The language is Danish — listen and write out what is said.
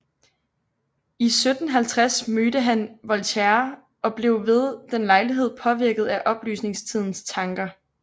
I 1750 mødte han Voltaire og blev ved den lejlighed påvirket af oplysningstidens tanker